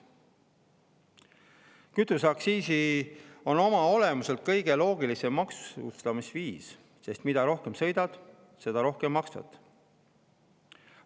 Kütuseaktsiis on oma olemuselt kõige loogilisem maksustamisviis, sest mida rohkem sõidad, seda rohkem maksad.